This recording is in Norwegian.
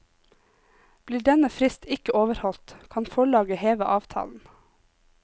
Blir denne frist ikke overholdt, kan forlaget heve avtalen.